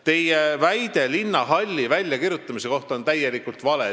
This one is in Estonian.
Teie väide linnahalli plaanidest väljakirjutamise kohta on täielikult vale.